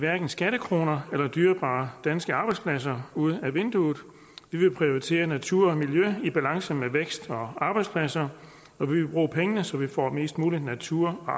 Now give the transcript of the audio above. skattekroner eller dyrebare danske arbejdspladser ud af vinduet vi vil prioritere natur og miljø i en balance mellem vækst og arbejdspladser og vi vil bruge pengene så vi får mest mulig natur og